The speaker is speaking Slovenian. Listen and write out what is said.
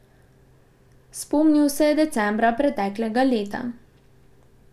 Spomnil se je decembra preteklega leta.